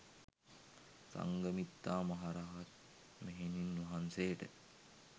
සංඝමිත්තා මහ රහත් මෙහෙණින් වහන්සේට